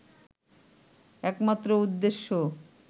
একমাত্র উদ্দেশ্য